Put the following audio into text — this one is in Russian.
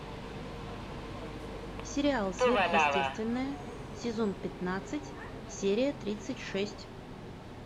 сериал сверхъестественное сезон пятнадцать серия тридцать шесть